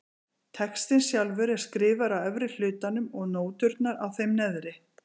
Textinn sjálfur er skrifaður á efri hlutanum og nóturnar á þeim neðri.